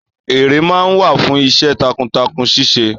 Èrè máa ń wà fún iṣẹ́ takuntakun ṣíse